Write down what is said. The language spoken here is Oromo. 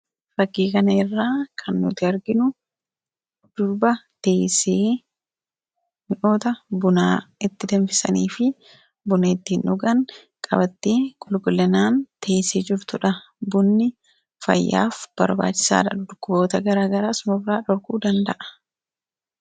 Fakkii kanarraa kan nuti arginu durba teessee mi'oota buna itti danfisanii fi buna ittiin dhugan qabattee qulqullinaan qabattee teessee jirtudha. Bunni fayyaaf barbaachisaadha dhukkuboota garaagaraa nurraa dhorkuu danda'a.